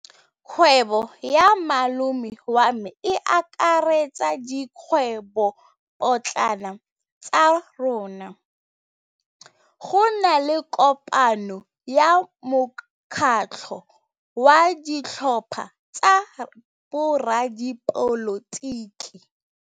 Kgwêbô ya malome wa me e akaretsa dikgwêbôpotlana tsa rona. Go na le kopanô ya mokgatlhô wa ditlhopha tsa boradipolotiki.